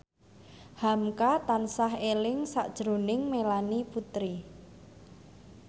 hamka tansah eling sakjroning Melanie Putri